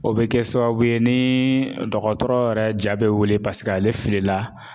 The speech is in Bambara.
O be kɛ sababu ye nii dɔgɔtɔrɔ yɛrɛ ja be wuli paseke ale fili la